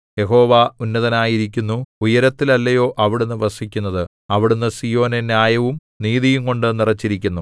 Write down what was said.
യഹോവ ഉന്നതനായിരിക്കുന്നു ഉയരത്തിലല്ലയോ അവിടുന്ന് വസിക്കുന്നത് അവിടുന്ന് സീയോനെ ന്യായവും നീതിയുംകൊണ്ടു നിറച്ചിരിക്കുന്നു